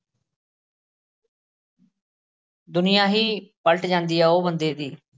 ਦੁਨੀਆਂ ਹੀ ਪਲਟ ਜਾਂਦੀ ਹੈ, ਉਹ ਬੰਦੇ ਦੀ,